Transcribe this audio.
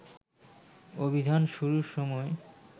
অভিযান শুরুর সময়